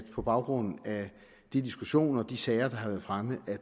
på baggrund af de diskussioner og de sager der har været fremme